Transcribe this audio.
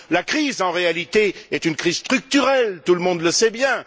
La crise en réalité est une crise structurelle, tout le monde le sait bien.